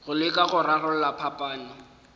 go leka go rarolla phapano